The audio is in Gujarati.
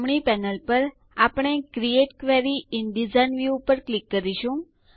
જમણી પેનલ પર આપણે create query in design view ઉપર ક્લિક કરીશું